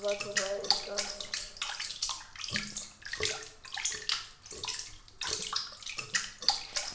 ya batho ba e ka